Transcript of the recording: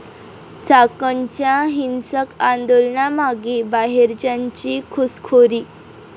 चाकणच्या हिंसक आंदोलनामागे 'बाहेरच्यांची' घुसखोरी?